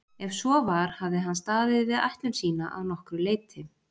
Ef svo var hafði hann staðið við ætlun sína að nokkru leyti.